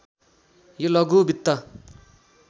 यो लघु वित्त